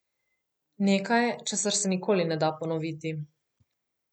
Nekaj, česar se nikoli ne da ponoviti.